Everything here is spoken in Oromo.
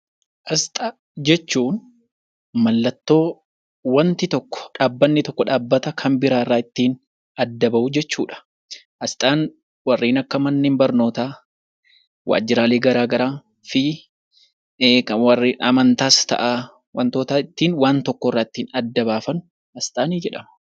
Asxaa jechuun mallattoo waanti tokko, dhaabbanni tokko dhaabbata biraa irraa ittiin adda bahuu jechuudha. Asxaan warreen akka manneen barnootaa waajiraalee garaagaraa fi warra amantaas ta'aa, wantoota ittiin waan tokko irraa adda baafannu asxaa jedhama.